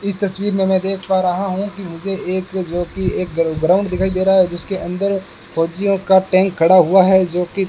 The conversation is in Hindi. इस तस्वीर में मैं देख पा रहा हूं कि मुझे एक जो की एक ग्राउंड दिखाई दे रहा है जिसके अंदर फौजियों का टैंक खड़ा हुआ है जोकि--